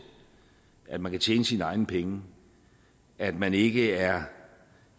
at man kan tjene sine egne penge at man ikke er